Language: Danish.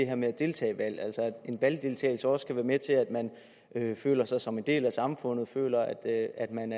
her med at deltage i valg altså at en valgdeltagelse også kan være med til at man føler sig som en del af samfundet føler at at man